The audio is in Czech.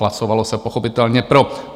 Hlasovalo se pochopitelně pro.